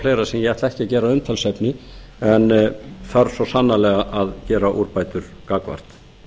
ætla ekki að gera að umtalsefni en þarf svo sannarlega að gera úrbætur gagnvart